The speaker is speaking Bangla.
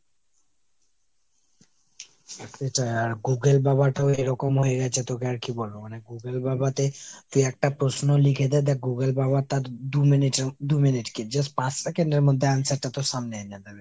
সেটাই, আর Google বাবাটাও এরকম হয়ে গেছে তোকে আর কি বলবো ? মানে Google বাবাতে তুই একটা প্রশ্ন লিখে দে দ্যাখ Google বাবা তার দু minute এর, দু minute কি just পাঁচ second এর মধ্যে তার answer টা তোর সামনে এনে দেবে।